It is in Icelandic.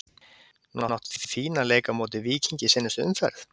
Núna áttuð þið fínan leik á móti Víkingi í seinustu umferð?